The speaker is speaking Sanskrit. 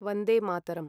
वन्दे मातरं